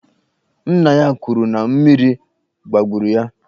Nna ya kwuru na mmiri gbagburu ya.